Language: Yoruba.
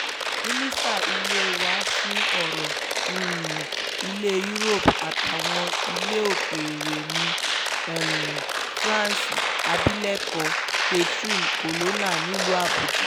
mínísítà ilẹ̀ wà fún ọ̀rọ̀ um ilẹ̀ europe àtàwọn ilẹ̀ òkèèrè ní um france abilékọ catherine colonna nílùú àbújá